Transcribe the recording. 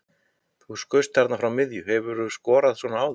Þú skaust þarna frá miðju, hefurðu skorað svona áður?